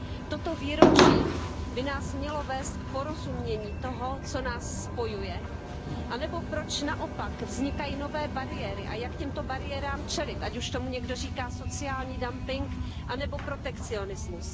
Toto výročí by nás mělo vést k porozumění tomu, co nás spojuje, anebo proč naopak vznikají nové bariéry a jak těmto bariérám čelit, ať už tomu někdo říká sociální dumping anebo protekcionismus.